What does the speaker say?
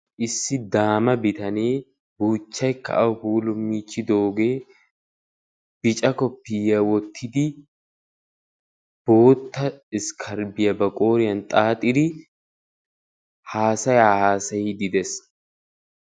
issi daama bitanee buuchchaiy ka au puulo miichchidoogee bica koppiya wottidi bootta iskkaribiyaa ba qooriyan xaaxiidi haasayaa haasayidi dees